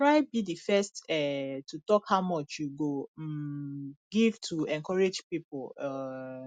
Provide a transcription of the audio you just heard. try be di first um to talk how much you go um give to encourage pipo um